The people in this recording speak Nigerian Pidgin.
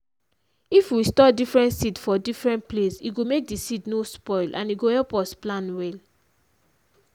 if we store different seed for different place e go make di seed nor spoil and e go help us plan well.